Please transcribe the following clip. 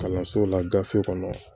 Kalanso la gafe kɔnɔ